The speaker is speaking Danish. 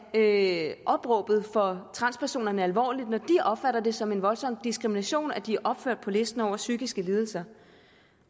tage opråbet fra transpersonerne alvorligt når de opfatter det som en voldsom diskrimination at de er opført på listen over psykiske lidelser